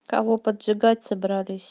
кого поджигать собрались